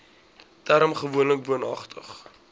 term gewoonlik woonagtig